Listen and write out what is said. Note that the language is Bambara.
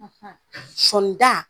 Sɔni da ?